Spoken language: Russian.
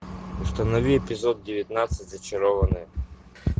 установи эпизод девятнадцать зачарованные